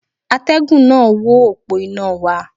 Atẹ́gùn náà wó òpó iná wa.